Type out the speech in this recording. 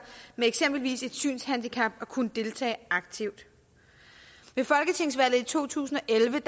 med eksempelvis et synshandicap at kunne deltage aktivt ved folketingsvalget i to tusind og elleve